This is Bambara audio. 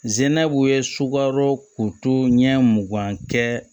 Zinɛbugu ye sukaro kuru ɲɛ mugan kɛ